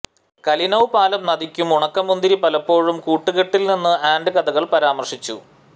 Kalinov പാലം നദിക്കും ഉണക്കമുന്തിരി പലപ്പോഴും കൂട്ടുകെട്ടിൽനിന്നു ആൻഡ് കഥകൾ പരാമർശിച്ചു